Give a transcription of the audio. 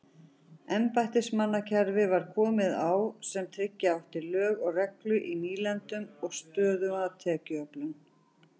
Embættismannakerfi var komið á sem tryggja átti lög og reglu í nýlendunum og stöðuga tekjuöflun.